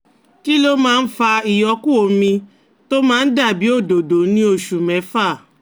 Kí ló máa ń fa ìyókù omi tó máa ń dà bí òdòdó ní oṣù mẹ́fà?